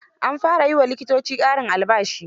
An fara yi wa likitoci ƙarin albashi.